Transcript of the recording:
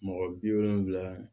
Mɔgɔ bi wolonfila